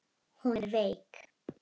Hún er veik.